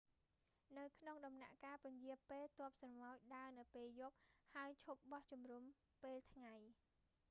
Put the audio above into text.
នៅក្នុងដំណាក់កាលពន្យារពេល ទ័ពស្រមោចដើរនៅពេលយប់ ហើយឈប់បោះជុំរំពេលថ្ងៃ